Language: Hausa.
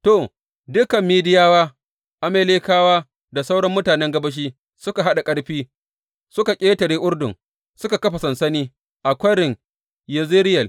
To, dukan Midiyawa, Amalekawa da sauran mutanen gabashi suka haɗa ƙarfi suka ƙetare Urdun suka kafa sansani a Kwarin Yezireyel.